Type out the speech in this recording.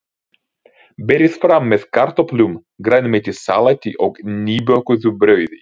Berið fram með kartöflum, grænmetissalati og nýbökuðu brauði.